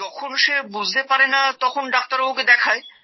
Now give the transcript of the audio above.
যখন সে বুঝতে পারেন না তখন ডাক্তারবাবুকে দেখায়